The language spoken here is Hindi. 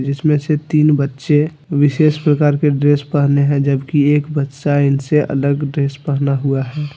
जिसमें से तीन बच्चे विशेष प्रकार की ड्रेस पहने हैं जबकि एक बच्चा इनसे अलग ड्रेस पहना हुआ है।